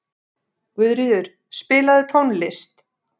Guðríður, spilaðu tónlist.